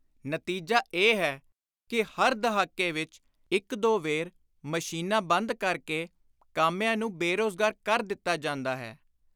ਨਤੀਜਾ ਇਹ ਹੈ ਕਿ ਹਰ ਦਹਾਕੇ ਵਿਚ ਇਕ ਦੋ ਵੇਰ ਮਸ਼ੀਨਾਂ ਬੰਦ ਕਰ ਕੇ ਕਾਮਿਆਂ ਨੂੰ ਬੇ-ਰੋਜ਼ਗਾਰ ਕਰ ਦਿੱਤਾ ਜਾਂਦਾ ਹੈ।